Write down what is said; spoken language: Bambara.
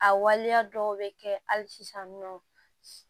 A waleya dɔw bɛ kɛ hali sisan nɔ